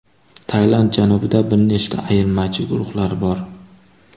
Tailand janubida bir nechta ayirmachi guruhlar bor.